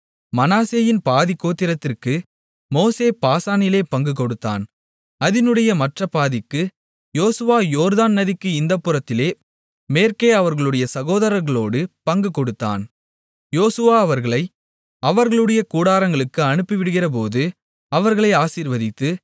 மனாசேயின் பாதிக்கோத்திரத்திற்கு மோசே பாசானிலே பங்கு கொடுத்தான் அதினுடைய மற்றப் பாதிக்கு யோசுவா யோர்தான் நதிக்கு இந்தப் புறத்திலே மேற்கே அவர்களுடைய சகோதரர்களோடு பங்கு கொடுத்தான் யோசுவா அவர்களை அவர்களுடைய கூடாரங்களுக்கு அனுப்பிவிடுகிறபோது அவர்களை ஆசீர்வதித்து